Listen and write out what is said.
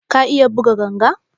Ka iya buga ganga?